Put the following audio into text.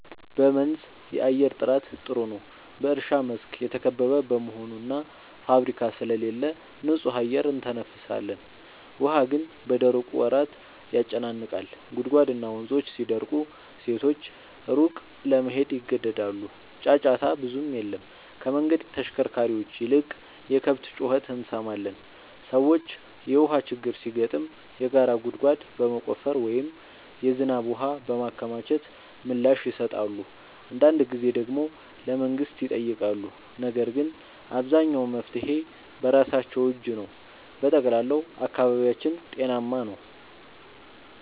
በመንዝ የአየር ጥራት ጥሩ ነው፤ በእርሻ መስክ የተከበበ በመሆኑ እና ፋብሪካ ስለሌለ ንጹህ አየር እንተነፍሳለን። ውሃ ግን በደረቁ ወራት ያጨናንቃል፤ ጉድጓድና ወንዞች ሲደርቁ ሴቶች ሩቅ ለመሄድ ይገደዳሉ። ጫጫታ ብዙም የለም፤ ከመንገድ ተሽከርካሪዎች ይልቅ የከብት ጩኸት እንሰማለን። ሰዎች የውሃ ችግር ሲገጥም የጋራ ጉድጓድ በመቆፈር ወይም የዝናብ ውሃ በማከማቸት ምላሽ ይሰጣሉ። አንዳንድ ጊዜ ደግሞ ለመንግሥት ይጠይቃሉ፤ ነገር ግን አብዛኛው መፍትሔ በራሳቸው እጅ ነው። በጠቅላላው አካባቢያችን ጤናማ ነው።